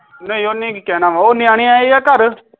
ਨਹੀਂ ਓਹਨੇ ਕਿ ਕਹਿਣਾ ਵਾ ਉਹ ਨਿਆਣੇ ਆਏ ਆ ਘਰ